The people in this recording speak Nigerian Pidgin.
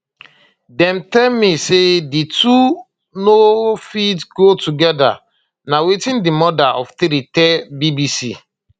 dem tell me say di two no fit go together na wetin di mother of three tell bbc